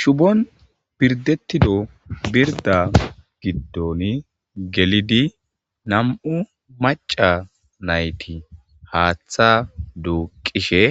Shubon berdethida birda gidoni gelidi nammu' macca naythi haaththa duqishe